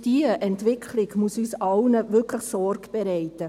Diese Entwicklung muss uns allen wirklich Sorge bereiten.